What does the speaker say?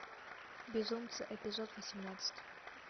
безумцы эпизод восемнадцать